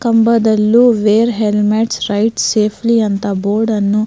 ಕಂಬದಲ್ಲು wear helmets ride safely ಅಂತ board ಅನ್ನು --